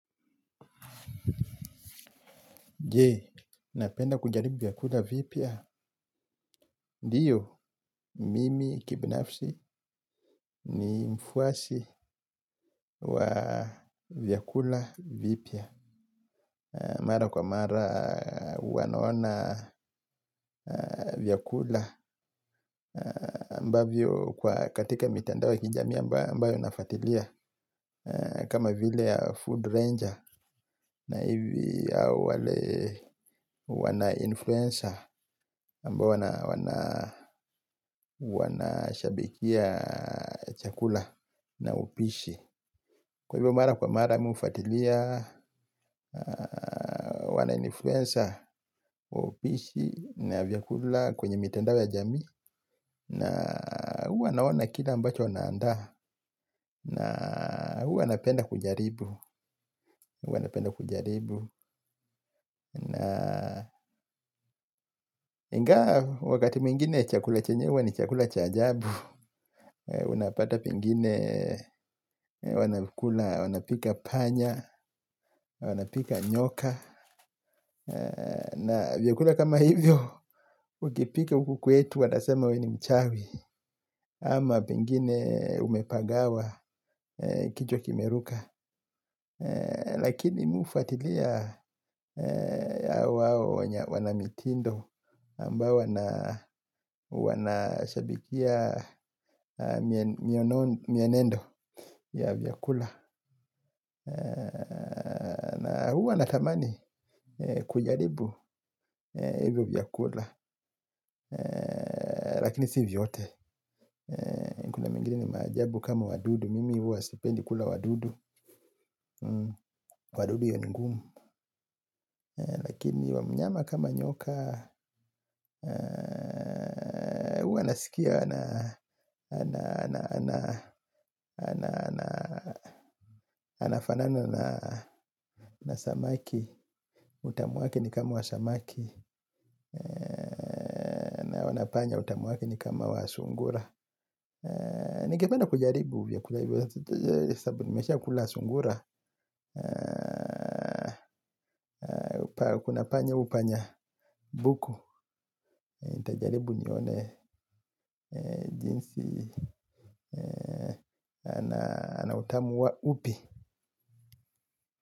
Je, napenda kujaribu vyakula vipya. Ndiyo, mimi kibinafsi ni mfuasi wa vyakula vipya. Mara kwa mara huwanaona vyakula mbavyo kwa katika mitanda wa kijami ambayo nafatilia. Kama vile ya food ranger na hivi au wale wana influenza mbayo wana shabikia chakula na upishi. Kwa hivyo mara kwa mara mi ufatilia wana influenza wa upishi na vyakula kwenye mitendawe ya jami na huwa naona kila mbacho wanaanda na huwa wana penda kujaribu wana penda kujaribu na ingawa wakati mingine chakula chanyewa ni chakula chajabu unapata pangine wanapika panya, wanapika nyoka na vyakula kama hivyo. Ukipika huku kwetu watasema we ni mchawi. Ama pengine umepagawa kichwa kimeruka. Lakini mi ufatilia. Awawa wanamitindo ambao wana shabikia. Mienendo ya vyakula. Huwa natamani kujaribu. Hivyo vyakula. Lakini si vyote. Kuna mingili ni majabu kama wadudu. Mimi huwa stipendi kula wadudu. Wadudu iyonigumu. Lakini wamnyama kama nyoka. Huwa nasikia. Ana Ana Ana Anafanana na Samaki. Utamu wake ni kama wa samaki. Wanapanya utamu w ake ni kama wa sungura. Nikependa kujaribu uvyakula hivyo. Sabu nimesha ukula sungura. Kuna panya upanya buku. Intajaribu nione jinsi anautamu wa upi.